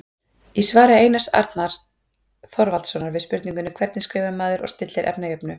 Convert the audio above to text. Í svari Einars Arnar Þorvaldssonar við spurningunni Hvernig skrifar maður og stillir efnajöfnu?